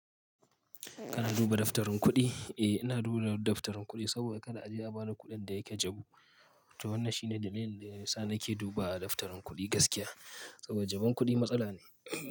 Kana duba daftarin kuɗi? Eh, ina duba daftarin kuɗi saboda kada a je a ba da kuɗin da yake jabu. To wannan shine dalilin da yasa nake duba a daftarin kuɗi gaskiya. Saboda jabun kuɗi matsala ne.